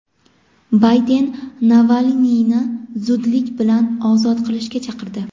Bayden Navalniyni zudlik bilan ozod qilishga chaqirdi.